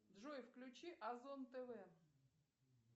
джой включи озон тв